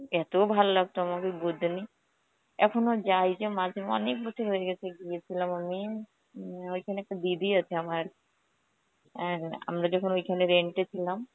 এত ভালো লাগতো আমাকে . এখনো যাই যে মাঝে অনেক বছর হয়ে গেছে গিয়েছিলাম আমি. হম ওইখানে একটা দিদি আছে আমার, অ্যাঁ আমরা যখন ওইখানে rent এ ছিলাম